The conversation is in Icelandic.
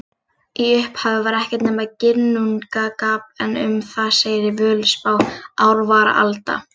Í upphafi var ekkert nema Ginnungagap en um það segir í Völuspá: Ár var alda,